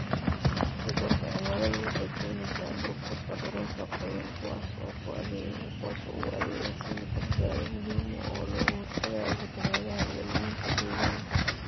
Isbeddelka cimiladu waxay keenaysaa burburka dhulalka qoyan, kuwaas oo u adeega sidii badbaado muhiim ah oo looga hortagayo fatahaadaha iyo luminta deegaanka.